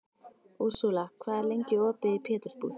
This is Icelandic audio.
Úrsúla, hvað er lengi opið í Pétursbúð?